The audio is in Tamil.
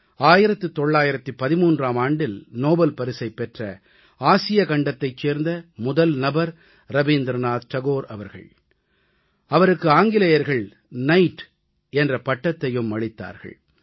1913ஆம் ஆண்டில் நோபல் பரிசைப் பெற்ற ஆசியக்கண்டத்தைச் சேர்ந்த முதல் நபர் ரவீந்திரநாத் தாகூர் அவர்கள் அவருக்கு ஆங்கிலேயர்கள் நைட் நைட் என்ற பட்டத்தையும் அளித்தார்கள்